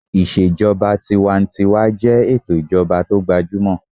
Ìṣèjọba tinwatinwa jẹ́ ètò ìjọba tó gbajúmọ̀